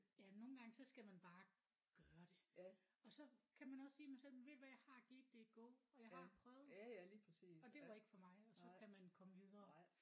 Ja nogle gange så skal man bare gøre det og så kan man også sige men så ved du hvad jeg har givet det et go og jeg har prøvet og det var ikke for mig og så kan man komme videre